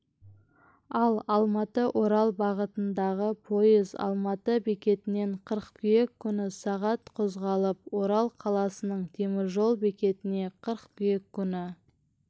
ал алматыорал бағытындағы пойыз алматы бекетінен қыркүйек күні сағат қозғалып орал қаласының теміржол бекетіне қыркүйек күні